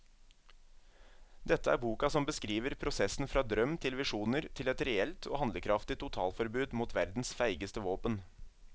Dette er boka som beskriver prosessen fra drøm til visjoner til et reelt og handlekraftig totalforbud mot verdens feigeste våpen.